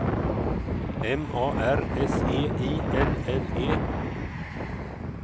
M A R S E I L L E